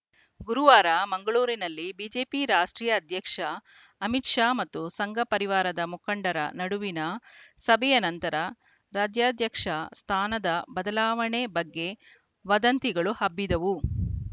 ಗುರುವಾರ ಮಂಗಳೂರಿನಲ್ಲಿ ಬಿಜೆಪಿ ರಾಷ್ಟ್ರೀಯ ಅಧ್ಯಕ್ಷ ಅಮಿತ್‌ ಶಾ ಮತ್ತು ಸಂಘ ಪರಿವಾರದ ಮುಖಂಡರ ನಡುವಿನ ಸಭೆಯ ನಂತರ ರಾಜ್ಯಾಧ್ಯಕ್ಷ ಸ್ಥಾನದ ಬದಲಾವಣೆ ಬಗ್ಗೆ ವದಂತಿಗಳು ಹಬ್ಬಿದ್ದವು